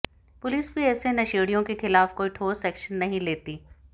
police भी ऐसे नशेड़ियों के खिलाफ कोई ठोस एक्शन नहीं लेती